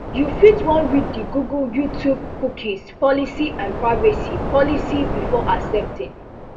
you fit wan read di google youtube cookie policy and privacy policy before accepting